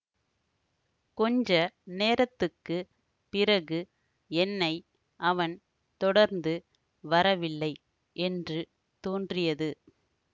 கொஞ்ச நேரத்துக்குப் பிறகு என்னை அவன் தொடர்ந்து வரவில்லை என்று தோன்றியது